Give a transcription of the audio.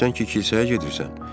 Bəs sən ki kilsəyə gedirsən?